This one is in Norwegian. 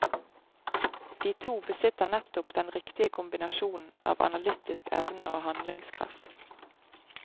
De to besitter nettopp den riktige kombinasjonen av analytisk evne og handlingskraft.